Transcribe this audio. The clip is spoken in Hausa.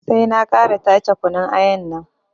Sai na ƙara tace kunun ayan nan